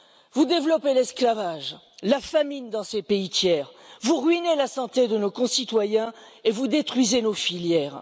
Vous développez l'esclavage et la famine dans ces pays tiers, vous ruinez la santé de nos concitoyens et vous détruisez nos filières.